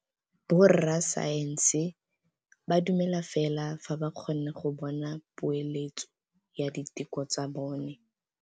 Borra saense ba dumela fela fa ba kgonne go bona poeletsô ya diteko tsa bone.